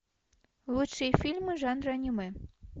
лучшие фильмы жанра аниме